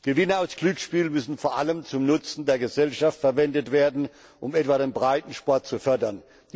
Gewinne aus Glücksspielen müssen vor allem zum Nutzen der Gesellschaft verwendet werden, um etwa den Breitensport zu fördern.